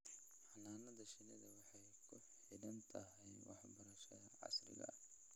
Xannaanada shinnidu waxay ku xidhan tahay waxbarashada casriga ah.